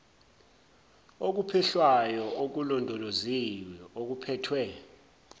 okuphehlwayo okulondoloziwe okuphethwe